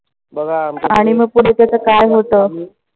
आणि मग पुढे त्याच काय होत?